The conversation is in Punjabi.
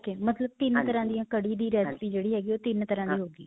ok ਮਤਲਬ ਤਿੰਨ ਤਰ੍ਹਾਂ ਦੀਆਂ ਕੜੀ ਦੀ recipe ਜਿਹੜੀ ਹੈਗੀ ਓਹ ਤਿੰਨ ਤਰ੍ਹਾਂ ਦੀ ਹੋ ਗਈ.